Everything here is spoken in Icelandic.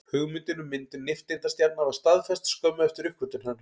Hugmyndin um myndun nifteindastjarna var staðfest skömmu eftir uppgötvun þeirra.